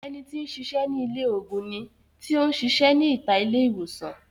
Ẹni tí ń sisẹ́ ní ilé ògùn ni tí ó ń sisẹ́ ní ìta ilé ìwòsàn